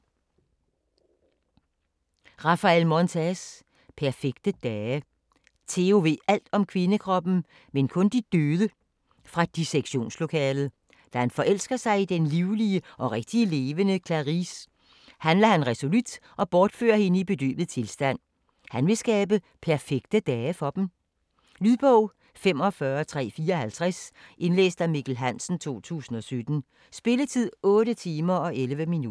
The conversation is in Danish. Montes, Raphael: Perfekte dage Teo ved alt om kvindekroppen, men kun de døde fra dissektionslokalet. Da han forelsker sig i den livlige og rigtigt levende Clarice, handler han resolut og bortfører hende i bedøvet tilstand. Han vil skabe perfekte dage for dem. Lydbog 45354 Indlæst af Mikkel Hansen, 2017. Spilletid: 8 timer, 11 minutter.